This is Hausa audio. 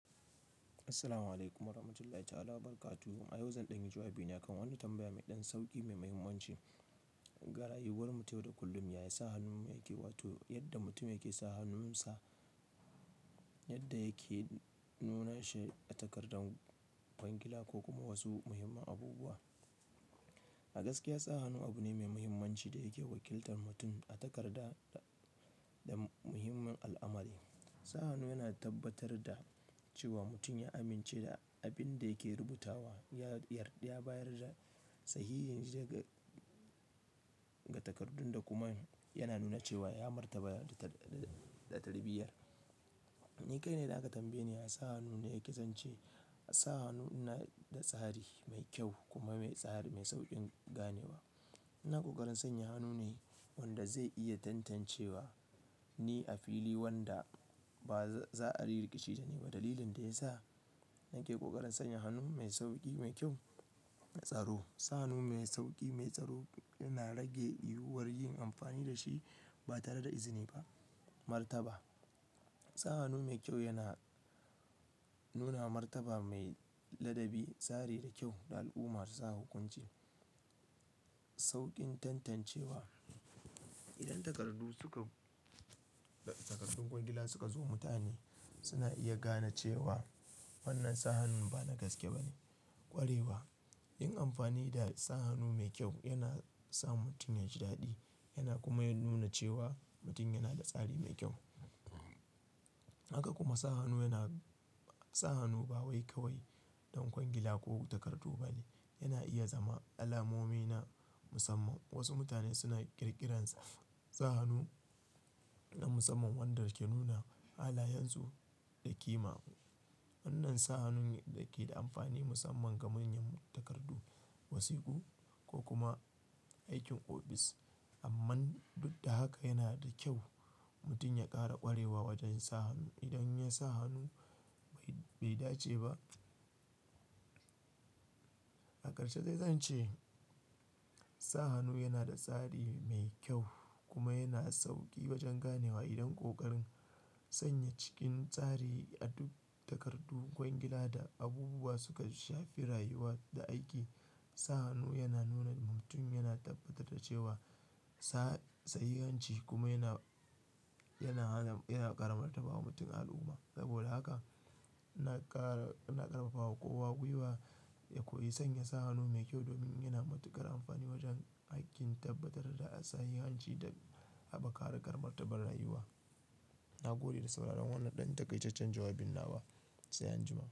Assalamu alaikum wa rahmatullahi ta'ala wa barakatu. A yau zan ɗanyi jawabi ne kan wani tambaya mai ɗan sauƙi mai muhimmanci. Ga rayuwarmu ta yau da kullum yayi sa hannunmu yake, wato yadda mutum yake sa hannunsa, yadda yake nuna shi a takardar kwangila ko kuma wasu muhimman abubuwa. A gaskiya, sa hannu abune mai muhimmanci da yake wakiltar mutum a takarda da muhimman al'amari. Sa hannu yana tabbatar da cewa mutun ya amince da abin da yake rubutawa yayar-ya bayar da sahihin zega ga takardun da kuma yana nuna cewa ya martaba da tarbiyya. Ni kai na idan aka tambaye ni ya sa hannu na yake zance. Sa hannu na da tsari mai kyau kuma me tsari me sauƙin ganewa. Ina ƙoƙarin sanya hanu ne wanda zai iya tantancewa ni a fili wanda ba za a ri riƙici da ni ba. Dalilin da ya sa nake ƙoƙarin sanya hannu mai sauƙi, mai kyau, m'tsaro. Sa hannu mai sauƙi, mai tsaro yana rage yiwuwar yin amfani da shi ba tare da izini ba. Martaba: sa hannu mai kyau yana nuna martaba mai ladabi, tsari da kyau da al'uma za hukunci. Sauƙin tantancewa: idan takardu suka-- takardun kwangila suka zo mutane suna iya gana cewa wannan sa hannun ba na gaske bane. Ƙwarewa: yin amfani da sa hannu me kyau yana sa mutun ya ji daɗi yana kuma nuna cewa mutun yana da tsari me kyau. Haka kuma sa hannu yana-- sa hannu ba wai kawai don kwangila ko takardu bane. Yana iya zama alamomi na musamman. Wasu mutane suna ƙirƙirar sa hannu na musamman wanda ke nuna halayansu da ƙima. Wannan sa hannun yake da amfani musamman ga manyan takardu, wasiƙu ko kuma aikin ofis. Amman, duk da haka yana da kyau mutun ya ƙara ƙwarewa wajen sa hannu. Idan ya sa hannu bai dace ba, a ƙarshe zai zance sa hannu yana da tsari mai kyau kuma yana sauƙi wajen ganewa. Idan ƙoƙarin sanya cikin tsari a duk takardu, kwangila da abubuwa suka shafi rayuwa da aiki, sa hannu yana nuna mutum yana tabbatar da cewa sa sahihanci kuma yana, yana hana-- yana ƙara martaba wa mutum a al'uma. Saboda haka ina ƙara-- ina ƙarfafawa kowa gwiwa ya koyi sanya sa hannu mai kyau domin yana matuƙar amfani wajen aikin tabbatar da sahihanci da haɓaka harkar martaba rayuwa. Na gode da sauraron wannan ɗan takaitaccen jawabin nawa, sai anjima.